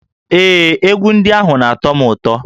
Ee, egwu ndị ahụ na-atọ m ụtọ